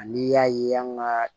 Ani y'a ye an ka